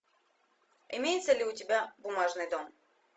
имеется ли у тебя бумажный дом